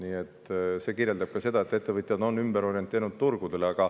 Nii et see kirjeldab seda, et ettevõtjad on ümber orienteerunud teistele turgudele.